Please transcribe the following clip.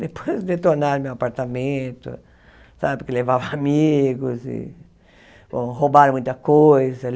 Depois detonaram meu apartamento, sabe porque levava amigos, e ou roubaram muita coisa.